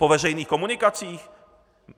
Po veřejných komunikacích?